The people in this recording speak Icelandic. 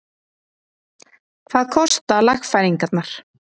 Hvað kosta lagfæringarnar?